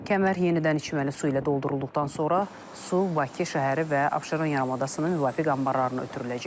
Kəmər yenidən içməli su ilə doldurulduqdan sonra su Bakı şəhəri və Abşeron yarımadasının müvafiq anbarlarına ötürüləcək.